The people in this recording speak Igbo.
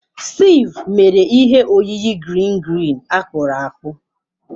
Steve mere ihe oyiyi green green akpụrụ akpụ.